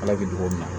Ala bɛ togo min na